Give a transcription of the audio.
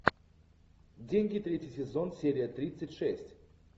деньги третий сезон серия тридцать шесть